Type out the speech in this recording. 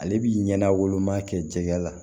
Ale bi ɲɛna woloma kɛ jɛgɛ la